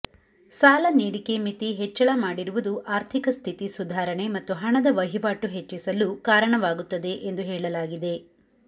ಸಾಲ ನೀಡಿಕೆ ಮಿತಿ ಹೆಚ್ಚಳ ಮಾಡಿರುವುದು ಆರ್ಥಿಕ ಸ್ಥಿತಿ ಸುಧಾರಣೆ ಮತ್ತು ಹಣದ ವಹಿವಾಟು ಹೆಚ್ಚಿಸಲು ಕಾರಣವಾಗುತ್ತದೆ ಎಂದು ಹೇಳಲಾಗಿದೆ